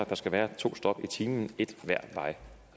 der skal være to stop i timen et hver vej